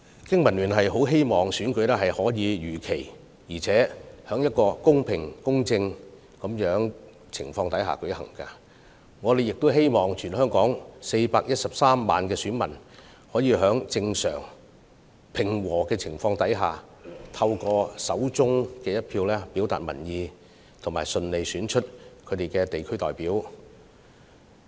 經民聯希望選舉能夠如期在公平公正的情況下舉行，亦希望全港413萬名選民能夠在正常及和平的情況下，運用手上的一票表達意見，順利選出他們心儀的地區代表。